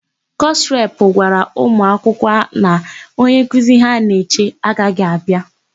Kọsụ repụ gwara ụmụakwụkwọ na onyenkuzi ha na-eche agaghị abịa.